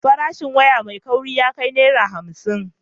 Farashin waya mai kauri ya kai Naira hamsin.